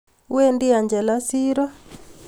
Wendi Angela siro